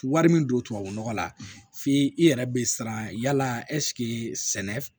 Wari min don tubabu nɔgɔ la f'i yɛrɛ bɛ siran yala sɛnɛ f